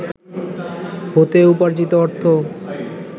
হতে উপার্জিত অর্থ